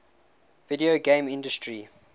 video game industry